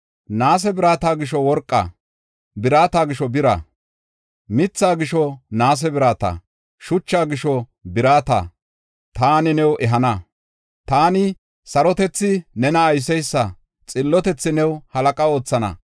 Naase birata gisho worqa, birata gisho bira, mitha gisho naase birata, shucha gisho birata taani new ehana. Taani, sarotethi nena ayseysa, xillotethi new halaqa oothana.